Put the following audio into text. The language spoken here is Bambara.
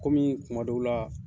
Kɔmi kumadɔw la